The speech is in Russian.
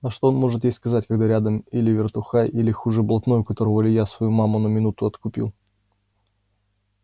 а что он может ей сказать когда рядом или вертухай или хуже блатной у которого илья свою маму на минуту откупил